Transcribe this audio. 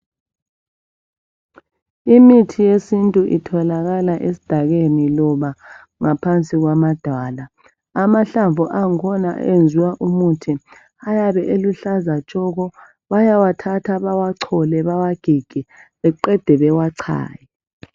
Imithi yesintu itholakala esidakeni loba ngaphansi kwamadwala amahlavu akhona ayenziwa umuthi ayabe eluhlaza tshoko bayawathatha bawachole bewagige beqede bawachaye.